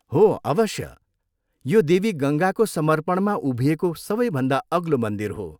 हो अवश्य। यो देवी गङ्गाको समर्पणमा उभिएको सबैभन्दा अग्लो मन्दिर हो।